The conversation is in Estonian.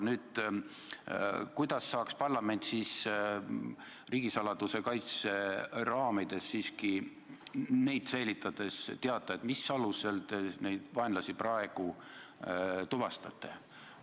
Kuidas saaks aga parlament riigisaladuse kaitse raamides siiski teada, mis alusel te praegu neid vaenlasi tuvastate?